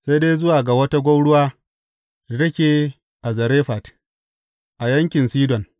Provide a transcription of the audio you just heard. Sai dai zuwa ga wata gwauruwa da take a Zarefat, a yankin Sidon.